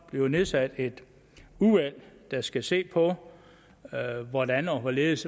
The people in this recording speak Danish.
bliver nedsat et udvalg der skal se på hvordan og hvorledes